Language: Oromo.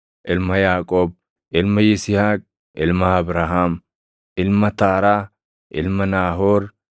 ilma Yaaqoob, ilma Yisihaaq, ilma Abrahaam, ilma Taaraa, ilma Naahoor,